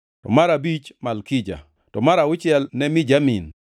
mar abich ne Malkija, to mar auchiel ne Mijamin,